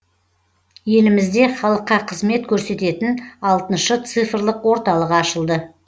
елімізде халыққа қызмет көрсететін алтыншы цифрлық орталық ашылды